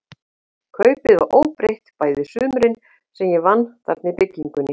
Kaupið var óbreytt bæði sumurin, sem ég vann þarna í byggingunni.